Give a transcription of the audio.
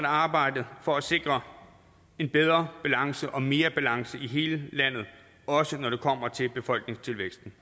arbejdet for at sikre en bedre balance og mere balance i hele landet også når det kommer til befolkningstilvæksten